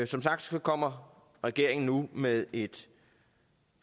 som sagt kommer regeringen nu med et